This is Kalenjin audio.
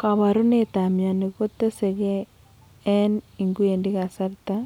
Koporunetap mioni kotesege en ingwendi kasarta